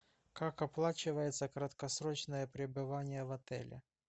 как оплачивается краткосрочное пребывание в отеле